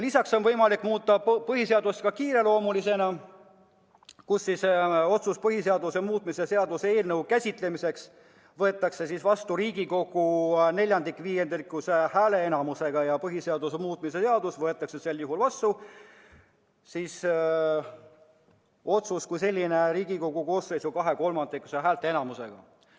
Lisaks on võimalik muuta põhiseadust kiireloomulisena, kui otsus põhiseaduse muutmise seaduse eelnõu käsitlemiseks võetakse vastu Riigikogu neljaviiendikulise häälteenamusega ja see põhiseaduse muutmise seadus võetakse vastu Riigikogu koosseisu kahekolmandikulise häälteenamusega.